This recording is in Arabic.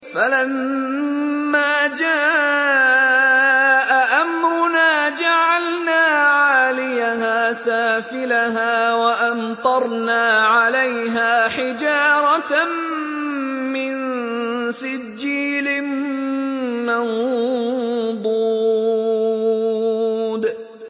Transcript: فَلَمَّا جَاءَ أَمْرُنَا جَعَلْنَا عَالِيَهَا سَافِلَهَا وَأَمْطَرْنَا عَلَيْهَا حِجَارَةً مِّن سِجِّيلٍ مَّنضُودٍ